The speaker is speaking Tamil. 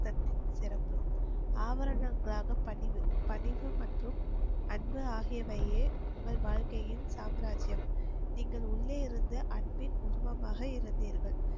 சட்டின் சிறப்பு ஆவரணங்கிராக பணிவு, பணிவு மற்றும் அன்பு ஆகியவையே உங்கள் வாழ்க்கையில் சாம்ராஜ்யம். நீங்கள் உள்ளே இருந்து அன்பின் உருவமாக இருந்தீர்கள்.